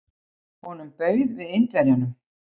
Honum bauð við Indverjanum.